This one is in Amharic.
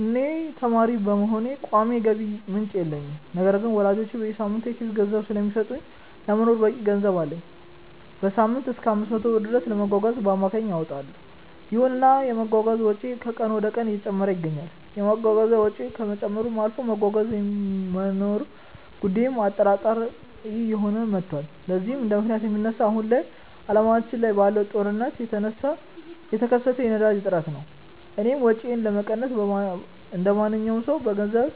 እኔ ተማሪ በመሆኔ ቋሚ የገቢ ምንጭ የለኝም። ነገር ግን ወላጆቼ በየሳምንቱ የኪስ ገንዘብ ስለሚሰጡኝ ለመኖር በቂ ገንዘብ አለኝ። በሳምንትም እሰከ 500 ብር ድረስ ለመጓጓዣ በአማካይ አወጣለው። ይሁንና የመጓጓዣ ወጪዬ ከቀን ወደቀን እየጨመረ ይገኛል። የመጓጓዣ ወጪው ከመጨመርም አልፎ መጓጓዣ የመኖሩ ጉዳይም አጠራጣሪ እየሆነ መቷል። ለዚህም እንደምክንያት የሚነሳው አሁን ላይ አለማችን ላይ ባለው ጦርነት የተነሳ የተከሰተው የነዳጅ እጥረት ነው። እኔም ወጪዬን ለመቀነስ እንደማንኛውም ሰው በገንዘብ